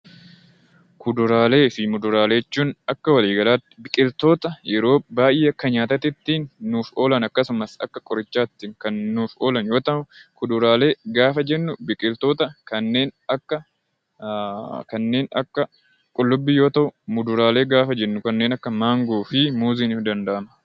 Kuduraalee fi muduraalee jechuun akka waliigalaatti biqiltoota yeroo baay'ee akka nyaataatiitti nuuf oolan akkasumas akka qorichaatti kan nuuf oolan yoo ta'u, kuduraalee gaafa jennu biqiltoota kanneen akka qullubbii yoo ta'u, muduraalee gaafa jennu kanneen akka maangoo fi muuzii himuun ni danda'ama.